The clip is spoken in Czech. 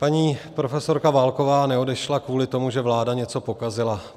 Paní profesorka Válková neodešla kvůli tomu, že vláda něco pokazila.